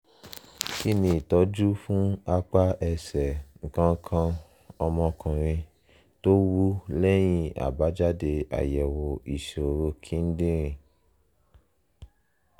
kí ni ìtọ́jú fún apá ẹsẹ̀ nǹkan nǹkan ọmọkuùnrin tó wú lẹ́yìn àbájáde àyẹ̀wò ìṣòro kidinrin?